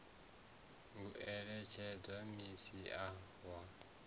u eletshedza minis a wa